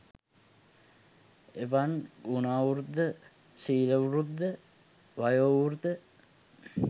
එවන් ගුණවෘද්ධ, සීලවෘද්ධ, වයෝවෘද්ධ